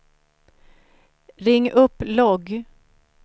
ring upp logg